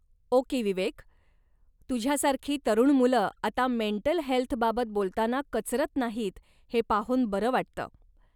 Okay Vivek, तुझ्यासारखी तरुण मुलं आता मेंटल हेल्थबाबत बोलताना कचरत नाहीत हे पाहून बरं वाटत.